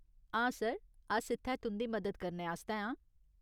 हां सर, अस इत्थै तुं'दी मदद करने आस्तै आं।